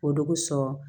O de bi sɔn